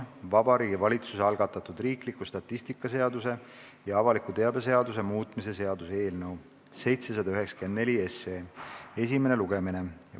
Vabariigi Valitsuse algatatud riikliku statistika seaduse ja avaliku teabe seaduse muutmise seaduse eelnõu 794 esimene lugemine.